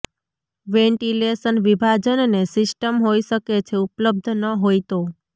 ventilation વિભાજનને system હોઇ શકે છે ઉપલબ્ધ ન હોય તો